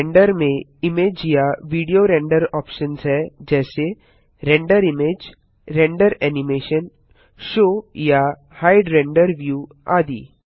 render में image या video render options हैं जैसे render image render animation show या हाइड रेंडर व्यू आदि